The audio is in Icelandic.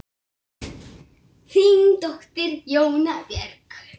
Þín dóttir, Jóna Björg.